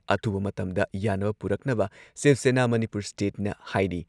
ꯑꯊꯨꯕ ꯃꯇꯝꯗ ꯌꯥꯟꯅꯕ ꯄꯨꯔꯛꯅꯕ ꯁꯤꯕ ꯁꯦꯅꯥ ꯃꯅꯤꯄꯨꯔ ꯁ꯭ꯇꯦꯠꯅ ꯍꯥꯏꯔꯤ ꯫